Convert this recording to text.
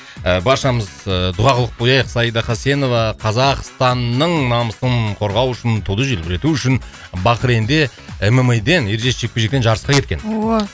ы баршамыз ы дұға қылып қояйық саида хасенова қазақстанның намысын қорғау үшін туды желбірету үшін бахрейнде мма ден ережесіз жекпе жектен жарысқа кеткен ооо